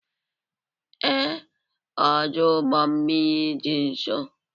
Ee, ọdụ ụgbọ mmiri dị nso.